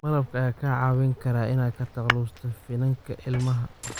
Malabka ayaa kaa caawin kara inaad ka takhalusto finanka ilmaha.